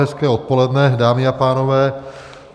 Hezké odpoledne, dámy a pánové.